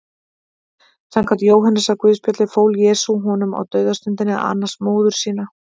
Samkvæmt Jóhannesarguðspjalli fól Jesús honum á dauðastundinni að annast móður sína.